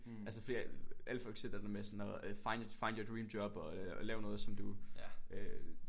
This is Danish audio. Altså fordi at alle folk siger et eller andet med sådan at find find your dream job og lav noget som du øh